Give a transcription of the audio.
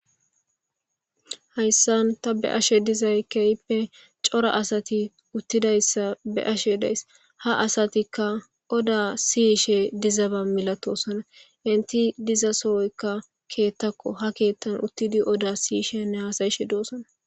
Hayssan ta bea'she dizzayi kehippe cora assti uthidayssa bea'she dayssi. Ha assathikka odda sishe dizzaba malathossona enti dizza sohoykka keththakko ha kethan uttidi odda sishene hassai'she dossona.